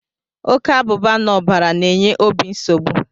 Oke abụba n'ọbara na-enye obi nsogbu.